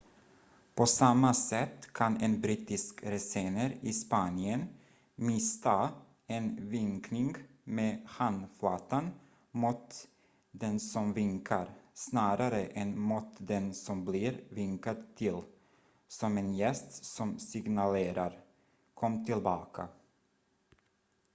"på samma sätt kan en brittisk resenär i spanien missta en vinkning med handflatan mot den som vinkar snarare än mot den som blir vinkad till som en gest som signalerar "kom tillbaka"".